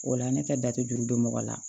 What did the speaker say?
O la ne ka jate juru bɛ mɔgɔ la